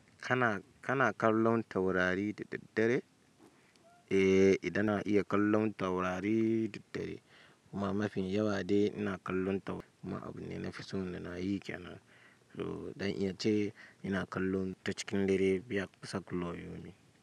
Kana, kana kallon taurari da daddare? Eee, idan na iya kallon taurari da daddare kuma mafi yawa de ina kallon taurari. Kuma abune nafi so da nayi kenan. To zan iya ce ina kallo ta cikin dare.